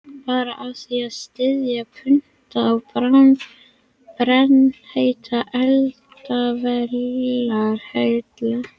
Bara af því að styðja putta á brennheita eldavélarhellu.